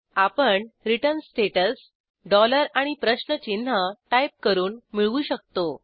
आपण return status dollar आणि प्रश्नचिन्ह टाईप करून मिळवू शकतो